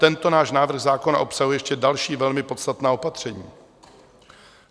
Tento náš návrh zákona obsahuje ještě další, velmi podstatná opatření.